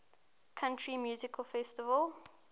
country music festival